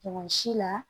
Mɔgɔ si la